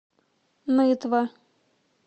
нытва